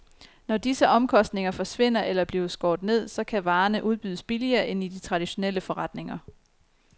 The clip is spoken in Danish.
Når disse omkostninger forsvinder eller bliver skåret ned, så kan varerne udbydes billigere end i de traditionelle forretninger.